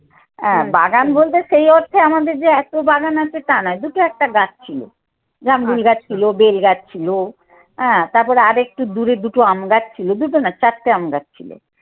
হ্যাঁ বাগান বলতে সেই অর্থে আমাদের যে এত বাগান আছে টা না, দুটো একটা গাছ ছিল। জামরুল গাছ ছিল, বেল গাছ ছিল হ্যাঁ, তারপর আর একটু দূরে দুটো আমগাছ ছিল। দুটো না চারটে আমগাছ ছিল।